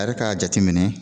A yɛrɛ k'a jateminɛ